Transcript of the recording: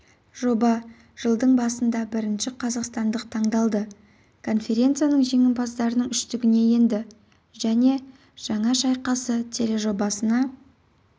жоба жылдың басында бірінші қазақстандық таңдалды конференциясының жеңімпаздарының үштігіне енді және жаңа шайқасы тележобасына